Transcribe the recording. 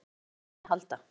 Ég þarf á vini að halda.